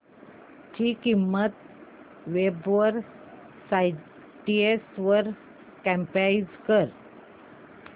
ची किंमत web sites वर कम्पेअर कर